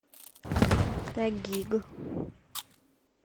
тагиг